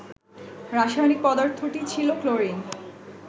রাসায়নিক পদার্থটি ছিল ক্লোরিন